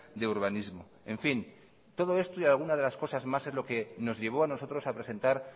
de urbanismo en fin todo esto y alguna cosa más es lo que nos llevó a nosotros a presentar